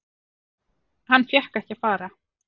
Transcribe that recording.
Hann fékk ekki að fara.